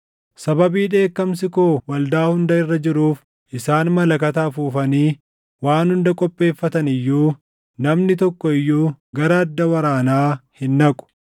“ ‘Sababii dheekkamsi koo waldaa hunda irra jiruuf isaan malakata afuufanii waan hunda qopheeffatan iyyuu, namni tokko iyyuu gara adda waraanaa hin dhaqu.